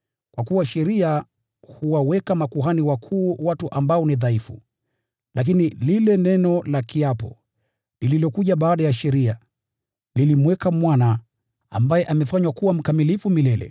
Kwa kuwa sheria huwaweka makuhani wakuu watu ambao ni dhaifu; lakini lile neno la kiapo, lililokuja baada ya sheria, lilimweka Mwana, ambaye amefanywa kuwa mkamilifu milele.